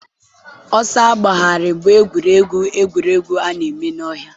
ọsọ agbagharị bụ egwuregwu egwuregwu a na-eme n'ọhịa.